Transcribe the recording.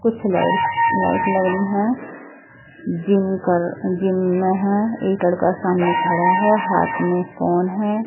कुछ lights light लग रही हैं जिम कर जिम में हैं एक लड़का सामने खड़ा है हाथ में फोन है।